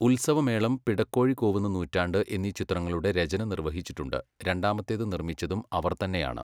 ഉൽസവമേളം, പിടക്കോഴി കൂവുന്ന നൂറ്റണ്ട് എന്നീ ചിത്രങ്ങളുടെ രചന നിർവ്വഹിച്ചിട്ടുണ്ട്, രണ്ടാമത്തേത് നിർമ്മിച്ചതും അവർ തന്നെയാണ്.